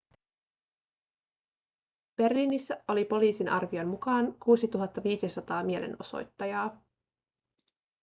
berliinissä oli poliisin arvion mukaan 6 500 mielenosoittajaa